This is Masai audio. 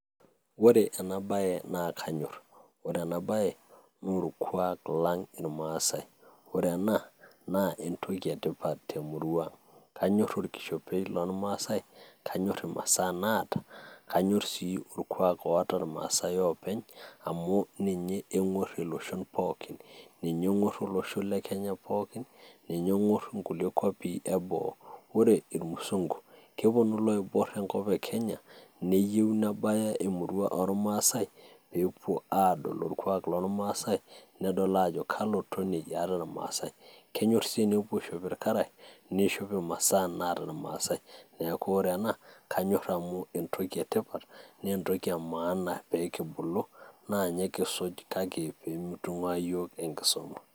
Ore ena bae na kanyorr, ore ena bae na olkuak lang ilmasae, ore ena na entoki etipat temurua, kanyor olkishopei lomasae, kanyorr imasaa naata, kanyor si olkuak loota ilmasae openy, amu ninye engorr iloshon pooki, ninye engor olosho le kenya pooki, ninye engor ilkulie kuapi ebo, ore ilmusungu keponu iloibor enkop e kenya, neyieu nebeya emurua, olmsae pepuo adol olkuak lomasae nedol ajo kalo tonei eeta ilmasae, kenyor si nepuo aishop ilkarash, neishop imasaa naata ilmasae, niaku ore ena kanyor amu entoki etipat, na entoki emaana pee kibulu, na ninye kisuj kake pee mitungua yiok enkisuma.